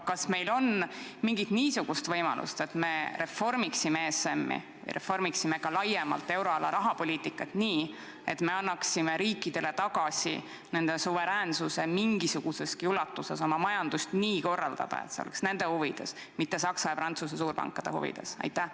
Kas meil on aga mingit võimalust reformida ESM-i ja ka laiemalt euroala rahapoliitikat nii, et me annaksime riikidele tagasi nende suveräänsuse mingisuguseski ulatuses korraldada oma majandust nende endi huvides, mitte Saksa ja Prantsuse suurpankade huvides?